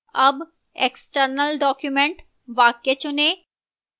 अब external document वाक्य चुनें